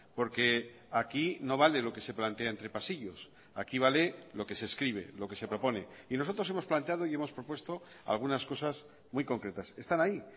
porque aquí no vale lo que se plantea entre pasillos aquí vale lo que se escribe lo que se propone y nosotros hemos planteado y hemos propuesto algunas cosas muy concretas están ahí